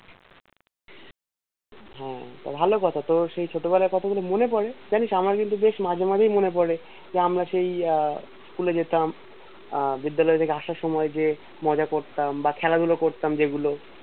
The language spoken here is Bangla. হ্যাঁ তা ভালো কথা তোর সেই ছোটবেলার কথা গুলো মনে পরে জানিস আমার কিন্তু বেশ মাঝে মাঝেই মনে পরে যে আমরা সেই আহ school এ যেতাম আহ বিদ্যালয় থেকে আসার সময় যে মজা করতাম বা খেলা ধুলো করতাম যে গুলো